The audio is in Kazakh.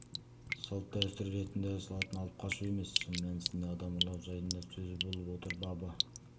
салт-дәстүр ретінде жасалатын алып қашу емес шын мәнісінде адам ұрлау жайында сөз болып отыр бабы